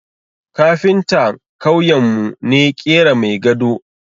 Kafinta kauyen mu ne ƙera mai gado